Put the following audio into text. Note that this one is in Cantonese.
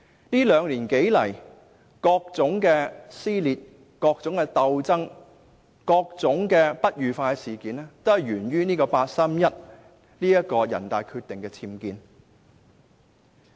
這兩年多以來，各種撕裂、鬥爭和不愉快事件也源於人大常委會八三一決定的"僭建"。